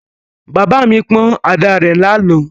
Bàbá mi pọ́n àdá rẹ̀ lánàá.